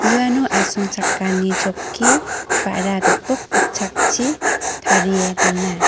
uano asongchakani chokki ba·ra gipok gitchakchi tarie dona.